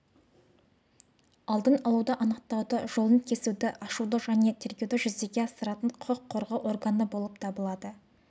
алдын алуды анықтауды жолын кесуді ашуды және тергеуді жүзеге асыратын құқық қорғау органы болып табылады